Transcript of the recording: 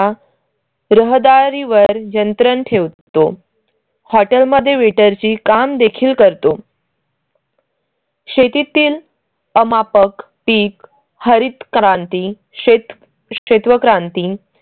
राहदारीवर यंत्रण ठेवतो. हॉटेल मध्ये वेटर ची काम देखील करतो शेतीतील अमापक पीक हरित क्रांती, शेत शेतेवक्रांती